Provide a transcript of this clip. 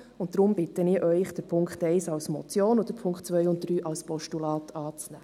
Deshalb bitte ich Sie, Punkt 1 als Motion und die Punkte 2 und 3 als Postulat anzunehmen.